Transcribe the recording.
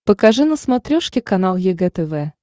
покажи на смотрешке канал егэ тв